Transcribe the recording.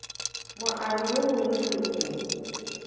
moabi yo mongwe le yo